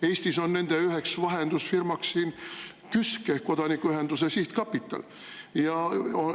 Eestis on üks selle vahendusfirma KÜSK ehk Kodanikuühiskonna Sihtkapital.